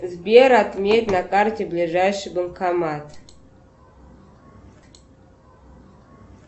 сбер отметь на карте ближайший банкомат